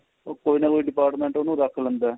ਉਹ ਕੋਈ ਨਾ ਕੋਈ department ਉਹਨੂੰ ਰੱਖ ਲੈਂਦਾ